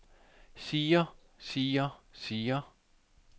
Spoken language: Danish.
siger siger siger